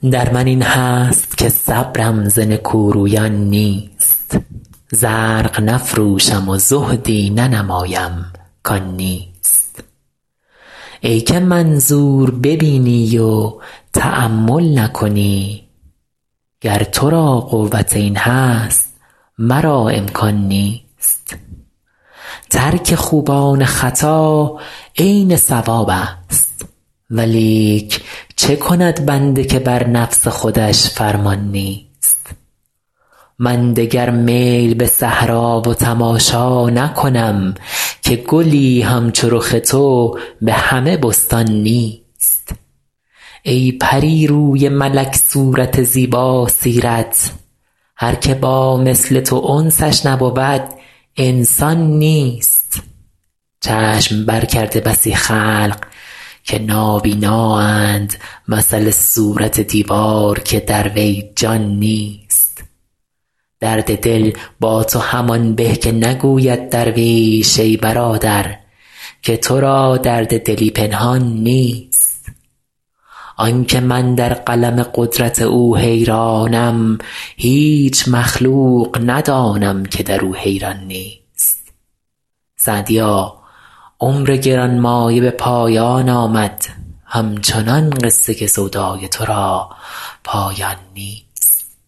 در من این هست که صبرم ز نکورویان نیست زرق نفروشم و زهدی ننمایم کان نیست ای که منظور ببینی و تأمل نکنی گر تو را قوت این هست مرا امکان نیست ترک خوبان خطا عین صوابست ولیک چه کند بنده که بر نفس خودش فرمان نیست من دگر میل به صحرا و تماشا نکنم که گلی همچو رخ تو به همه بستان نیست ای پری روی ملک صورت زیباسیرت هر که با مثل تو انسش نبود انسان نیست چشم برکرده بسی خلق که نابینااند مثل صورت دیوار که در وی جان نیست درد دل با تو همان به که نگوید درویش ای برادر که تو را درد دلی پنهان نیست آن که من در قلم قدرت او حیرانم هیچ مخلوق ندانم که در او حیران نیست سعدیا عمر گران مایه به پایان آمد همچنان قصه سودای تو را پایان نیست